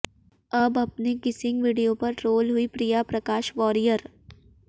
अब अपने kissing video पर ट्रोल हुईं प्रिया प्रकाश वारियर